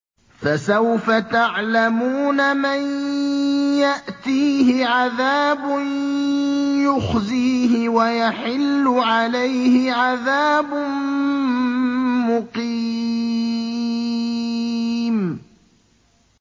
فَسَوْفَ تَعْلَمُونَ مَن يَأْتِيهِ عَذَابٌ يُخْزِيهِ وَيَحِلُّ عَلَيْهِ عَذَابٌ مُّقِيمٌ